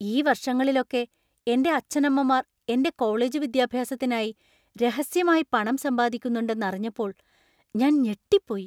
ഈ വർഷങ്ങളിലൊക്കെ എന്‍റെ അച്ഛനമ്മമാർ എന്‍റെ കോളേജ് വിദ്യാഭ്യാസത്തിനായി രഹസ്യമായി പണം സമ്പാദിക്കുന്നുണ്ടെന്ന് അറിഞ്ഞപ്പോൾ ഞാൻ ഞെട്ടിപ്പോയി.